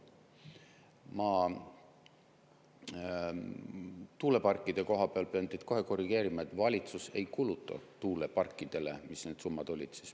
Ma tuuleparkide koha peal pean teid kohe korrigeerima, et valitsus ei kuluta tuuleparkidele – mis need summad olid?